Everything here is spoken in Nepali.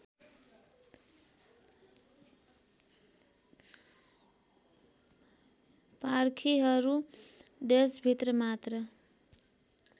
पारखीहरू देशभित्र मात्र